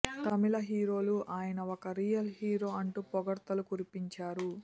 తమిళ హీరోలు ఆయన ఒక రియల్ హీరో అంటూ పొగడ్తలు కురిపించారు